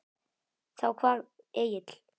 Þá kvað Egill